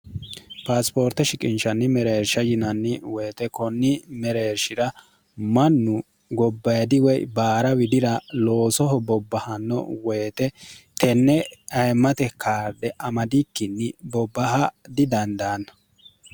paasipoorte shiqinshanni mereersha yinanni woyite kunni mereershi'ra mannu gobbayidi woy baara widira loosoho bobbahanno woyite tenne ayemmate kaardhe amadikkinni bobbaha didandaanna